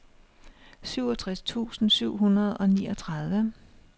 syvogtres tusind syv hundrede og niogtredive